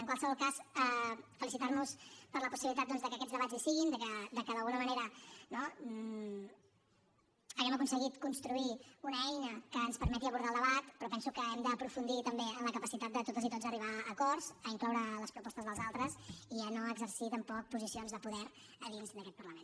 en qualsevol cas felicitar nos per la possibilitat doncs de que aquests debats hi siguin de que d’alguna manera no hàgim aconseguit construir una eina que ens permeti abordar el debat però penso que hem d’aprofundir també en la capacitat de totes i tots d’arribar a acords d’incloure les propostes dels altres i de no exercir tampoc posicions de poder a dins d’aquest parlament